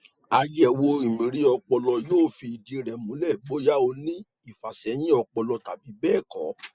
àyẹwò mri ọpọlọ yóò fi ìdí rẹ múlẹ bóyá ó ní ìfàsẹyìn ọpọlọ tàbí bẹẹ kọ